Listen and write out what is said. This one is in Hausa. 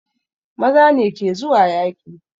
Maza ne ke zuwa yaƙi